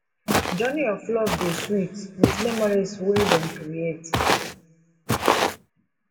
journey of love dey sweet with memories wey dem create